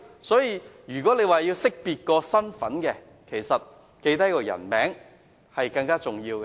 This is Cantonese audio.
所以，如要識別身份，記下姓名其實更為重要。